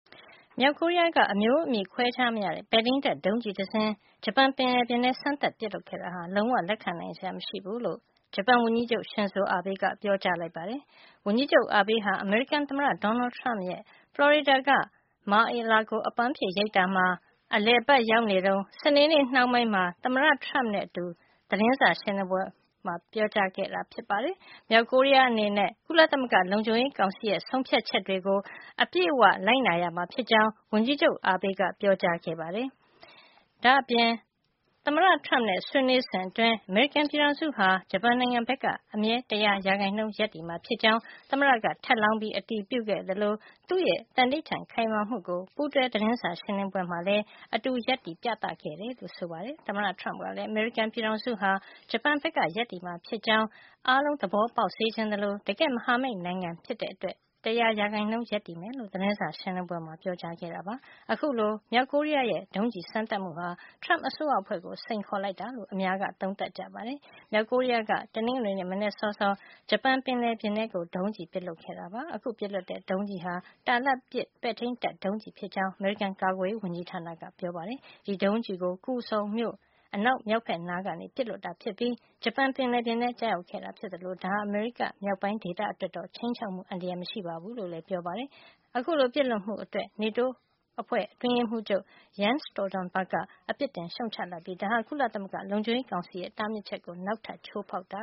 မြောက်ကိုရီးယားက အမျိုးအမည်ခွဲခြားမရတဲ့ ပဲ့ထိန်းတပ် ဒုံးကျည်တစင်း ဂျပန်ပင်လယ်ထဲ စမ်းသပ်ပစ်လွှတ် ခဲ့တာဟာ လုံးဝ လက်ခံနိုင်စရာ မရှိဘူးလို့ ဂျပန်ဝန်ကြီးချုပ် Shinzo Abe က ပြောပါတယ်။ ဝန်ကြီးချုပ် Abe ဟာ အမေရိကန် သမ္မတ Donald Trump ရဲ့ ဖလော်ရီဒါက Mar-a-Lago အပမ်းဖြေအိမ်ယာမှာ အလည်အပတ် ရောက်နေ တုန်း စနေနေ့နှောင်းပိုင်းက သမ္မတ Trump နဲ့အတူ သတင်းစာရှင်းလင်းပွဲ မှာ ပြောကြားခဲ့တာပါ။ မြောက်ကိုရီးယား အနေနဲ့ ကုလသမဂ္ဂလုံခြုံရေးကောင်စီရဲ့ ဆုံးဖြတ်ချက်တွေကို အပြည့်အဝ လိုက်နာရမှာ ဖြစ်ကြောင်း ဝန်ကြီးချုပ် Abe က ပြောကြားခဲ့ပါတယ်။ ဒါ့အပြင် သမ္မတ Trump နဲ့ ဆွေးနွေးစဉ်အတွင်း အမေရိကန်ပြည်ထောင်စုဟာ ဂျပန်နိုင်ငံဘက်က အမြဲ တရာ ရာခိုင်နှုန်း ရပ်တည်မှာ ဖြစ်ကြောင်း သမ္မတက ထပ်လောင်း အတည်ပြုခဲ့သလို သူ့ရဲ့ သံဓိဌာန် ခိုင်မာမှုကို ပူးတွဲ သတင်းစာ ရှင်းလင်းပွဲမှာ အတူရပ်တည် ပြသခဲ့တယ်လို့ ဆိုပါတယ်။ သမ္မတ Trump ကလည်း အမေရိကန်ပြည်ထောင်စုဟာ ဂျပန်ဘက်က ရပ်တည်မှာ ဖြစ်ကြောင်း အားလုံး သဘောပေါက်စေချင်သလို တကယ့် မဟာမိတ်နိုင်ငံအတွက် ၁၀၀ ရာနှုန်း ရပ်တည်မယ်လို့ သတင်းစာ ရှင်းလင်းပွဲမှာ ပြောကြားခဲ့ပါတယ်။ အခုလို မြောက်ကိုရီးယားရဲ့ ဒုံးကျည်စမ်းသပ်မှုဟာ Trump အစိုးရအဖွဲ့ကို စိန်ခေါ်လိုက်တာလို့ အများက သုံးသပ်ကြပါတယ်။ မြောက်ကိုရီးယားက တနင်္ဂနွေနေ့ မနက်စောစောမှာ ဂျပန်ပင်လယ်ပြင်ထဲ ဒုံးကျည် ပစ်လွှတ်ခဲ့တာ ဖြစ်ပါတယ်။ အခုပစ်လွှတ်တဲ့ ဒုံးကျည်ဟာ တာလတ်ပစ် ပဲ့ထိမ်းတပ် ဒုံးကျည်ဖြစ်ကြောင်း အမေရိကန် ကာကွယ်ရေးဝန်ကြီး ဌာနက ပြောပါတယ်။ ဒီဒုံးကျည်ကို Kusong မြို့ အနောက်မြောက်ဖက်နား ကနေ ပစ်လွှတ်တာ ဖြစ်ပြီး ဂျပန်ပင်လယ်ပြင်ထဲ ကျရောက်ခဲ့တာ ဖြစ်သလို ဒါဟာ အမေရိက မြောက်ပိုင်းဒေသအတွက် ခြိမ်းခြောက်မှု အန္တရာယ် မရှိဘူးလို့ လည်း ပြောပါတယ်။ အခုလို ပစ်လွှတ်မှုအတွက် NATO အဖွဲ့ အတွင်းရေးမှုးချုပ် Jens Stoltenberg က အပစ်တင် ရှုံ့ချလိုက်ပြီး ဒါဟာ ကုသလသမဂ္ဂ လုံခြုံရေး ကောင်စီရဲ့ တားမြစ်ချက်ကို နောက်ထပ် ချိုးဖေါက်တာ